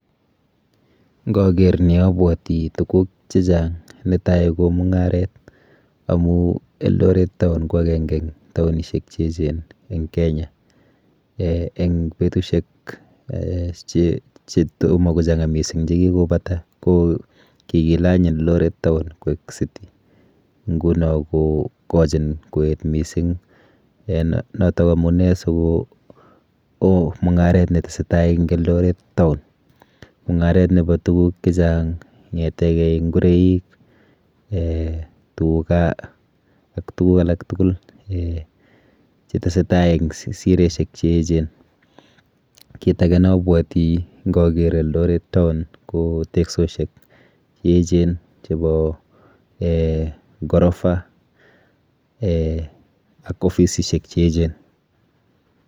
Ng'oker nii obwoti tukuk chechang, netai ko mung'aret amuun Eldoret town ko akeng'e en taonishek cheechen en Kenya, en betushek chetomo kochang'a mising chekikobata ko kikilonye lorit town koik city, ng'unon kokochin koet mising, en noton ko amunee sikowoo mung'aret netesetaa en Eldoret town, mung'aret nebo tukuk chechang ko kong'etekei ing'oroik, tukaa ak tukuk alak tukul chetesetaa en sireishek cheechen, kiit akee neobwoti ng'oker Eldoret town ko teksosiek cheechen chebo ghorofa ak ofisishek cheechen.